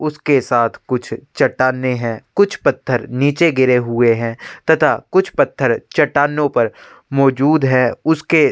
उसके साथ कुछ चट्टानें है कुछ पत्थर नीचे गिरे हुए है तथा कुछ पत्थर चट्टानों पर मौजूद है उसके --